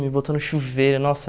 Me botou no chuveiro, nossa.